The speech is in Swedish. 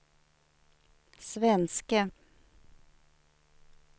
svenske